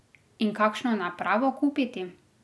In kakšno napravo kupiti?